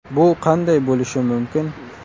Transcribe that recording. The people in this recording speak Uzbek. Bu qanday bo‘lishi mumkin?